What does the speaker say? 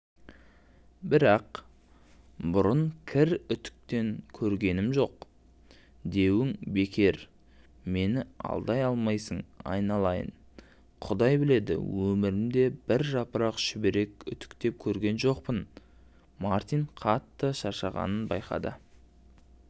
бірақ бұрын кір үтіктеп көргенім жоқ деуің бекер мені алдай алмайсың айналайын құдай біледі өмірімде бір жапырақ шүберек үтіктеп көрген жоқпын мартин қатты шаршағанын байқады